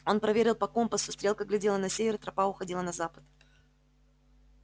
он проверил по компасу стрелка глядела на север тропа уходила на запад